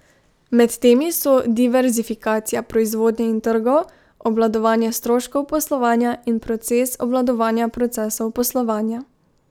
Med temi so diverzifikacija proizvodnje in trgov, obvladovanje stroškov poslovanja in proces obvladovanja procesov poslovanja.